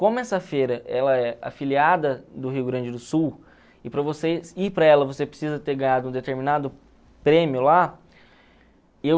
Como essa feira ela é afiliada do Rio Grande do Sul e para você ir para ela você precisa ter ganhado um determinado prêmio lá, eu...